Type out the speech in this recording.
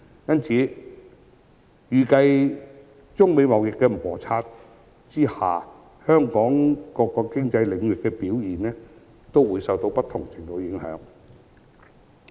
因此，預計在中美貿易摩擦下，香港各個經濟領域的表現也會受到不同程度的影響。